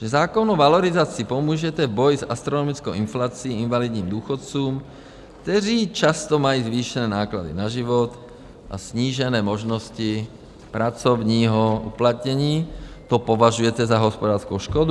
Že zákonnou valorizací pomůžete v boji s astronomickou inflací invalidním důchodcům, kteří často mají zvýšené náklady na život a snížené možnosti pracovního uplatnění, to považujete za hospodářskou škodu?